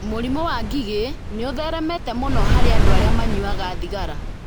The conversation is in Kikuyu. Mũrimũ wa ngigĩ nĩ ũtheremete mũno harĩ andũ arĩa manyuaga thigara.